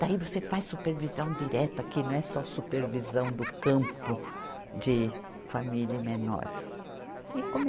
Daí você faz supervisão direta aqui, não é só supervisão do campo de família e menores. E